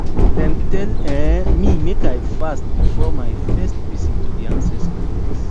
dem tell um me make i fast before my first visit to di ancestor place